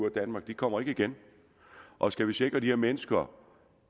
af danmark de kommer ikke igen og skal vi sikre at de her mennesker